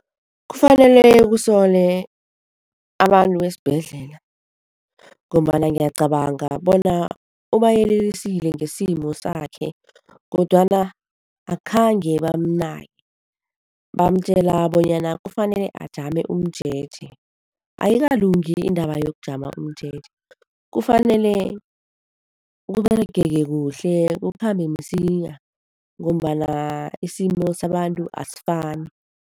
Kufanele kusole abantu besibhedlela ngombana ngiyacabanga bona ubayelelisile ngesimo sakhe kodwana akhange bamnake, bamatjela bonyana kufanele ajame umjeje. Ayikalungi indaba yokujamo umjeje, kufanele kuberegeke kuhle kukhambe msinya ngombana isimo sabantu asifani.